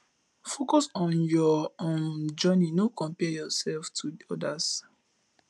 focus on your um own journey no compare yourself to others